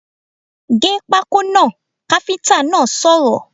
Gé pákó náà! káfíntà náà sọ̀rọ̀